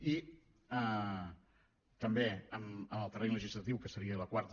i també en el terreny legislatiu que seria la quarta